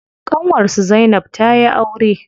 Ƙanwar su zainab tayi aure.